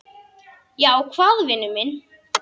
Já, hvað vinur minn?